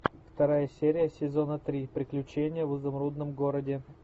вторая серия сезона три приключения в изумрудном городе